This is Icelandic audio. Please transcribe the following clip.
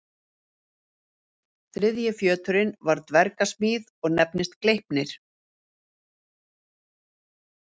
Þriðji fjöturinn var dverga smíð og nefndist Gleipnir.